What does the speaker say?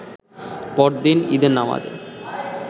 পরদিন ঈদের নামাজে